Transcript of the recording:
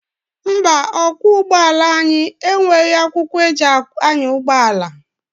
Mba, ọkwọ ụgbọala anyị enweghị akwụkwọ eji anya ụgbọala.